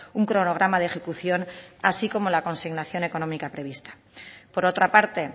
un cronograma de ejecución así como la consignación económica prevista por otra parte